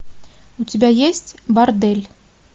у тебя есть бордель